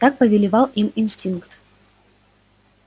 так повелевал им инстинкт